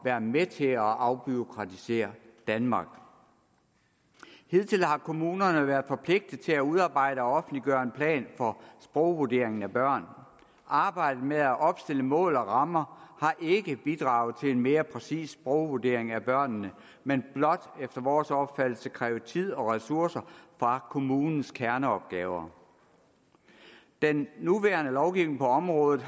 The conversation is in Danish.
være med til at afbureaukratisere danmark hidtil har kommunerne været forpligtet til at udarbejde og offentliggøre en plan for sprogvurderingen af børn arbejdet med at opstille mål og rammer har ikke bidraget til en mere præcis sprogvurdering af børnene men blot efter vores opfattelse krævet tid og ressourcer fra kommunens kerneopgaver den nuværende lovgivning på området